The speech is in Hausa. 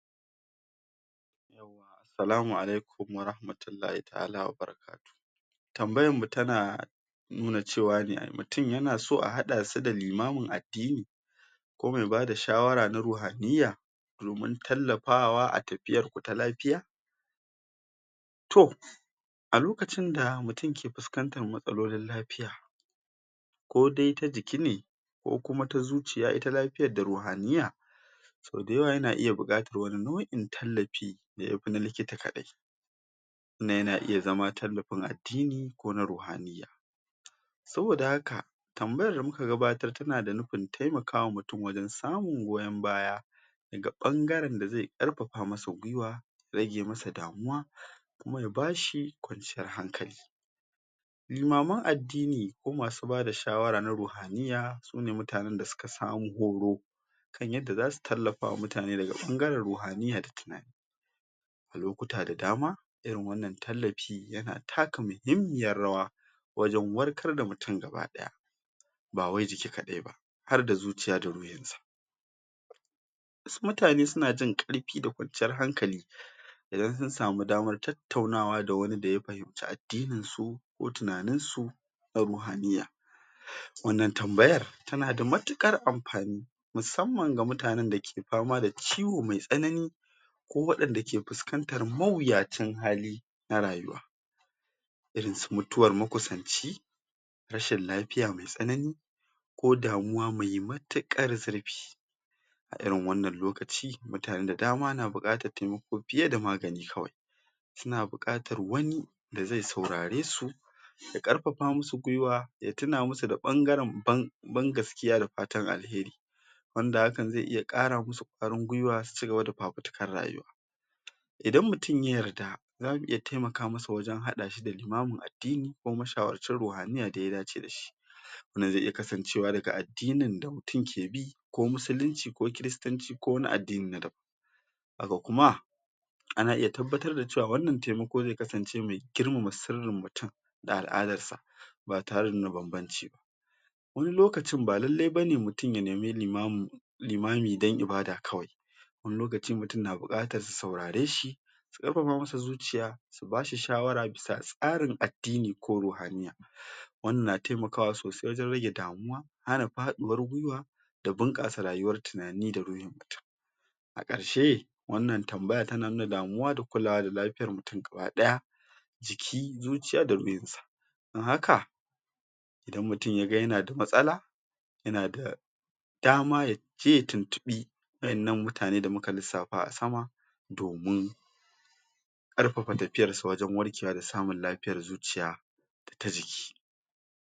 Salamu alaikum warahmatullahi ta'ala wa barakatuhu tambayan mu tana nuna cewa ne ai mutun yana so a haɗa su da limamin addini kuma ya bada shawara na ruhaniya domin tallafawa a tafiyar mu ta lafiya to a lokacin da mutun ke fuskantar matsalolin lafiya ko dai ta jiki ne ko kuma ta zuciya ita lafiyan da ruhaniya sau da yawa yana iya buƙatan wani nau'in tallafi da yafi na likita kaɗai tunda yana iya zama tallafin addini ko na ruhaniya saboda haka tambayar da muka gabatar tana da nufin taimaka ma mutun wajen samun goyon baya daga ɓangaren da zai ƙarfafa masa gwuiwa, rage masa damuwa kuma ya ba shi kwanciyar hankali limaman addini ko masu bada shawara na ruhaniya sune mutanen da suka samu horo kan yadda zasu tallafa wa mutane daga ɓangaren ruhaniya da tunani a lokuta da dama irin wannan tallafi yana taka muhimmiyar rawa wajen warkar da mutun gabaɗaya ba wai jiki kaɗai ba har da zuciya da ruhin sa wasu mutane suna jin ƙarfi da kwanciyar hankali idan sun samu damar tattaunawa da wani da ya fahimci addinin su ko tunanin su na ruhaniya wannan tambayar tana da matuƙar amfani musamman ga mutanen da ke fama da ciwo mai tsanani ko waɗanda ke fuskantar mawuyacin hali na rayuwa irin su mutuwar makusanci, rashin lafiya mai tsanani, ko damuwa mai matuƙar zurfi a irin wannan lokaci mutane da dama na buƙatar taimako fiye da magani kawai suna buƙatar wani da zai saurare su ya ƙarfafa musu gwuiwa, ya tuna musu da ɓangaren ban, ban gaskiya da fatan alheri wanda hakan zai iya ƙara musu ƙwarin gwuiwa su cigaba da fafutukar rayuwa idan mutun ya yarda zamu iya taimaka masa wajen haɗa shi da limamin addini ko mashawarcin ruhaniya da ya dace da shi wannan zai iya kasancewa daga addinin da mutun ke bi, ko musulunci, ko kiristanci, ko wani addini na daban haka kuma ana iya tabbatar da cewa wannan taimako zai kasance mai girmama sirrin mutun da al'adar sa ba tare da nuna banbanci ba wani lokacin ba lallai bane mutun ya nemi limamin, limami dan ibada kawai wani lokaci mutun na buƙatar su saurare shi su ƙarfafa masa zuciya su ba shi shawara bisa tsarin addini ko ruhaniya wannan na taimakawa sosai wajen rage damuwa, hana faɗuwar gwuiwa da bunƙasa rayuwar tunani da ruhin mutun a ƙarshe wannan tambaya tana nuna damuwa da kulawa da lafiyar mutun gabaɗaya jikin, zuciya da ruhin sa dan haka idan mutun ya ga yana da matsala yana da dama yaje ya tuntuɓi waƴannan mutane da muka lissafa a sama domin ƙarfafa tafiyar sa wajen warkewa da samun lafiyar zuciya ta jiki.